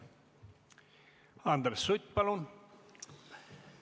Andres Sutt, palun!